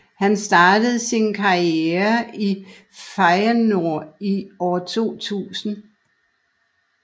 Han startede sin karriere i Feyenoord i år 2000